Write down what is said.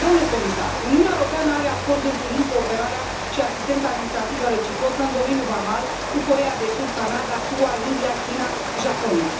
Domnule comisar, Uniunea Europeană are acorduri privind cooperarea și asistența administrativă reciprocă în domeniul vamal cu Coreea de Sud, Canada, SUA, India, China, Japonia.